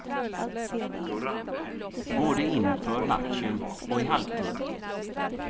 Både inför matchen och i halvtid.